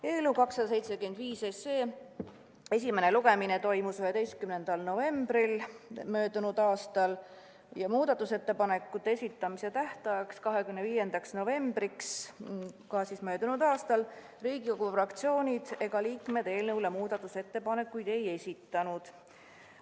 Eelnõu 275 esimene lugemine toimus 11. novembril möödunud aastal ja muudatusettepanekute esitamise tähtajaks, 25. novembriks Riigikogu fraktsioonid ega liikmed eelnõu muutmise ettepanekuid ei esitanud.